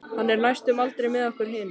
Hann er næstum aldrei með okkur hinum.